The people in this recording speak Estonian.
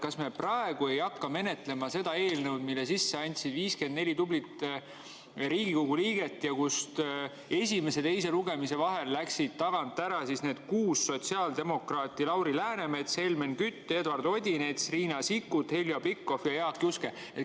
Kas me praegu ei hakka menetlema seda eelnõu, mille andsid sisse 54 tublit Riigikogu liiget ning kust esimese ja teise lugemise vahel läksid tagant ära kuus sotsiaaldemokraati: Lauri Läänemets, Helmen Kütt, Eduard Odinets, Riina Sikkut, Heljo Pikhof ja Jaak Juske?